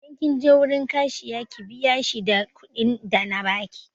Idan kin je wurin Kashiya ki biya shi da kuɗin da na baki!